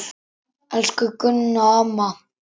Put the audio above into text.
Elsku Gunna amma.